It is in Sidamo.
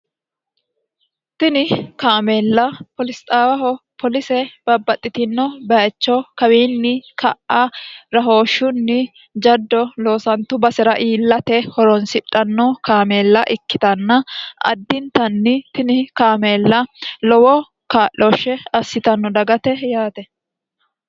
tini kaameella polisxaawaho polise babbaxxitino bayicho kawiinni ka'a rahooshshunni jaddo loosantu basira iillate horonsidhanno kaameella ikkitanna addintanni tini kaameella lowo kaa'looshshe assitanno dagate yaate